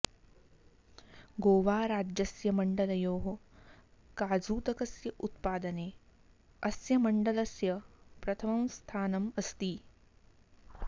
गोवाराज्यस्य मण्डलयोः काजूतकस्य उत्पादने अस्य मण्डलस्य प्रथमं स्थानम् अस्ति